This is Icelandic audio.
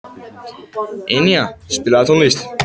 Enea, spilaðu tónlist.